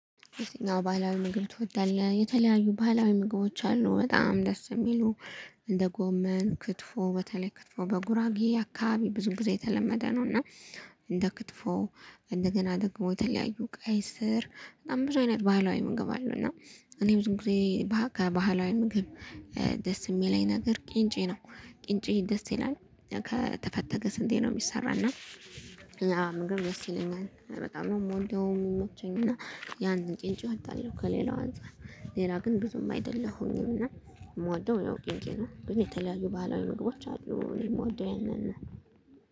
የተኛው ባህላዊ ምግብ ትወዳለህ የተለያዩ ባህላዊ ምግቦች አሉ በጣም ደስ የሚሉ እንደ ጎመን ክትፎ በተለይ ክትፎ በጉራጌ አካባቢ ብዙ ጊዜ የተለመደ ነው። እና እንደ ክትፎ እንደገና ደግሞ የተለያዩ ቀይ ስር በጣም ብዙ አይነት ባህላዊ ምግብ አሉ። እና እኔ ብዙ ጊዜ ከባህላዊ ምግብ ደስ የሚለኝ ነገር ቂንጬ ነው። ቂንጬ ደስ ይላል። ከተፈተገ ስንዴ ነው የሚሰራና ያ ምግብ ደስ ይለኛል። በጣም ነው ምወደው የሚመቸኝ እና ያን ቂንጨ እወዳለሁ። ከሌላው አንፃር ሌላ ግን ብዙም አይደለሁም እና የምወደው ያው ቂንጨ ነው። ግን የተለያዩ ባህላዊ ምግቦች አሉ እኔ የምወደው ያው ያንን ነው